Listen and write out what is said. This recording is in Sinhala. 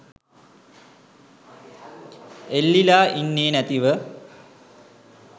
එල්ලිලා ඉන්නේ නැතිව